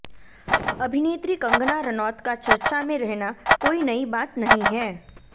अभिनेत्री कंगना रनौत का चर्चा में रहना कोई नई बात नहीं हैं